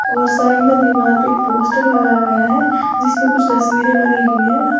और साइड में दीवार पे एक पोस्टर लगाया गया है जिसमें कुछ तस्वीरें बनी हुई है।